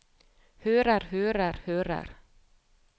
hører hører hører